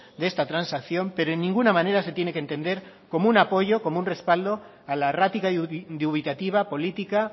de esta transacción pero en ninguna manera se tiene que entender como un apoyo como un respaldo a la errática y dubitativa política